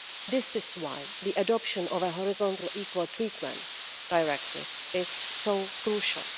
This is why the adoption of a Horizontal Equal Treatment Directive is so crucial.